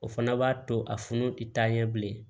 O fana b'a to a funu i ta ɲɛ bilen